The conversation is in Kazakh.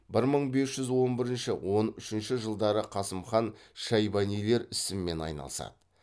бір мың бес жүз он бірінші он үшінші жылдары қасым хан шайбанилер ісімен айналысады